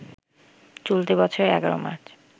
চলতি বছরের ১১ মার্চ